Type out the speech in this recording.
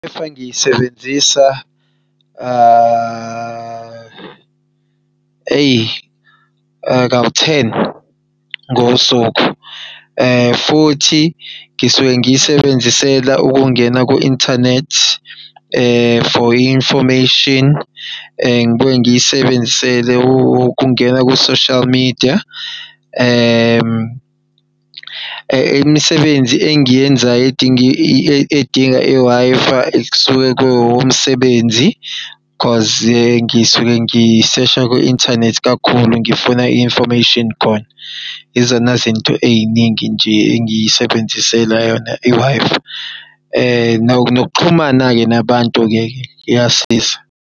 Wi-Fi ngiyisebenzisa eyi, kawu-ten ngosuku. Futhi ngisuke ngiyisebenzisela ukungena ku-inthanethi for i-information ngibuye ngiyisebenzisele ukungena kwi-social media. Imisebenzi engiyenzayo edinga i-Wi-Fi kusuke kuwumsebenzi cause-i ngisuke ngisesha kwi-inthanethi kakhulu, ngifuna i-information khona. Izona zinto ey'ningi nje engiy'sebenziseli yona i-Wi-Fi. Nokuxhumana-ke nabantu-ke iyasiza.